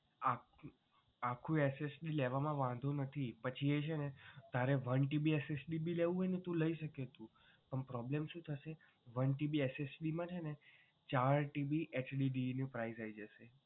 હા આખું SSD લેવામાં વાંધો નથી પછી એ છે ને તારે one TBSSD પણ લઈ શકે એટલું પણ problem શું થસે one TBSSD માં છે ને ચાર TBHDD નું price આવી જશે.